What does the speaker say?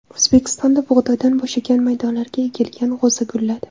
O‘zbekistonda bug‘doydan bo‘shagan maydonlarga ekilgan g‘o‘za gulladi.